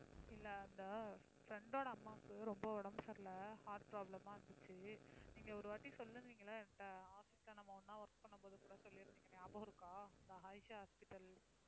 இல்ல அந்த அஹ் friend ஓட அம்மாக்கு ரொம்ப உடம்பு சரியில்ல heart problem ஆ இருந்துச்சு. நீங்க ஒரு வாட்டிச் நம்ம ஒண்ணா work பண்ணும்போது கூடச் சொல்லியிருந்தீங்க ஞாபகம் இருக்கா? அந்த ஆயிஷா hospital